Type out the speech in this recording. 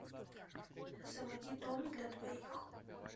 заводи дом для двоих